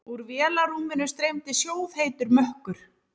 Úr vélarrúminu streymdi sjóðheitur mökkur.